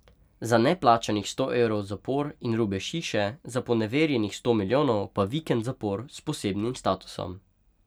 Za neplačanih sto evrov zapor in rubež hiše, za poneverjenih sto milijonov pa vikend zapor s posebnim statusom.